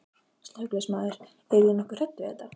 Slökkviliðsmaður: Eruð þið nokkuð hrædd við þetta?